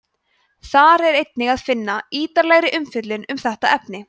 þar er einnig að finna ítarlegri umfjöllun um þetta efni